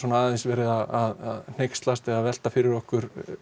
aðeins verið að hneykslast eða velta fyrir okkur